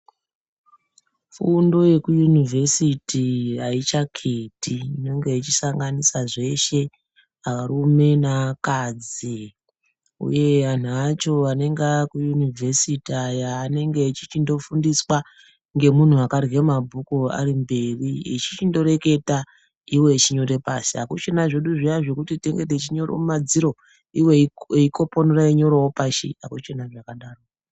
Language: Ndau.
Fundo yekuyunivhesiti haaichaketi inonge yeishanganisha zveshe arume naakadzi uye anhu acho anonga akuyunivhesiti aya anenge eichindofundiswa ngemunhu akarwe mabhuku ari mberi eichindoreketa ivo vechinyora pashi hakuchina zvedu zviyani zvekuti tinenge teinyore mumadziro ivo veikoponora veinyirawo pashi akuchina zvakadaro.